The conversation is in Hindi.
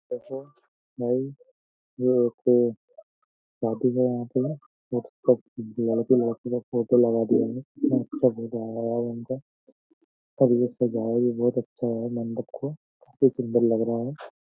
देखो भाई शादी का यहाँ पे लड़के-लड़कियों का लोग फोटो लगा दिया है। कितना अच्छा फोटो आया है यार उनका और ये सजाया भी बोहोत अच्छा गया है मंडप को काफी सुंदर लग रहा है।